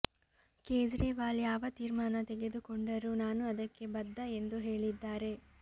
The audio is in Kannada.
ಕೇಜ್ರಿವಾಲ್ ಯಾವ ತೀರ್ಮಾನ ತೆಗೆದುಕೊಂಡರೂ ನಾನು ಅದಕ್ಕೆ ಬದ್ಧ ಎಂದು ಹೇಳಿದ್ದಾರೆ